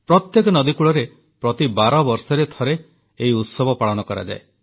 ପ୍ରତ୍ୟେକ ନଦୀକୂଳରେ ପ୍ରତି ବାରବର୍ଷରେ ଥରେ ଏହି ଉତ୍ସବ ପାଳନ କରାଯାଏ